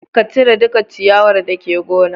Ka cire duka ciyawar dake gonar